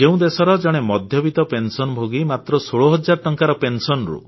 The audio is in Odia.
ଯେଉଁ ଦେଶର ଜଣେ ମଧ୍ୟବିତ୍ତ ପେନସନଭୋଗୀ ମାତ୍ର 16 ହଜାର ଟଙ୍କାର ପେନସନରୁ